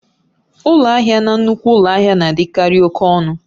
Ụlọ ahịa na nnukwu ụlọ ahịa na-adịkarị oke ọnụ.